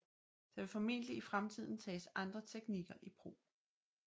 Der vil formentlig i fremtiden tages andre teknikker i brug